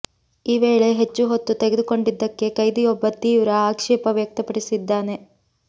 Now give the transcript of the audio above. ಈ ವೇಳೆ ಹೆಚ್ಚು ಹೊತ್ತು ತೆಗೆದುಕೊಂಡಿದ್ದಕ್ಕೆ ಕೈದಿಯೊಬ್ಬ ತೀವ್ರ ಆಕ್ಷೇಪ ವ್ಯಕ್ತಪಡಿಸಿದ್ದಾನೆ